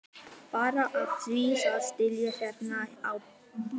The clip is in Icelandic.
Bara af því að sitja hérna á bekkjunum.